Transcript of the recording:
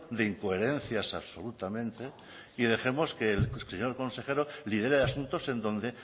de incoherencias absolutamente y dejemos que el señor consejero lidere asuntos en donde